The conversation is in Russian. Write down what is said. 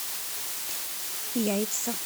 яйца